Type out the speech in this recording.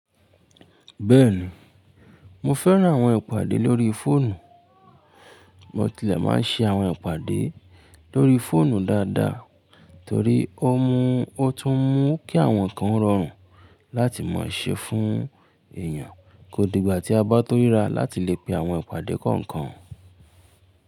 Bẹ́ẹ̀ni, mo fẹ́ràn àwọn ìpàdé lórí fóònù. Mo tilẹ̀ máa ń ṣe àwọn ìpàdé lórí fóònù dáadáa torí ó n mu o tún mú kí àwọn nkan o rọrùn láti maa ṣe fún èèyàn kó di ìgbà tí a bá tó ríra láti lè pè àwọn ìpàdé kọ̀ọ̀kan.